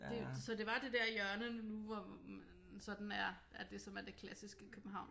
Det så det var det dér hjørne nu hvor man sådan er er det som er det klassiske København